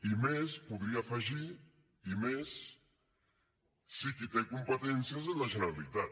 i més podria afegir i més si qui té competències és la generalitat